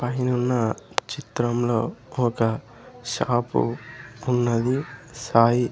పైనున్న చిత్రంలో ఒక షాపు ఉన్నది సాయి.